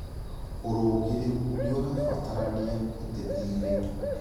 Ūrũngĩrĩru nĩũrabatarania ũteti-inĩ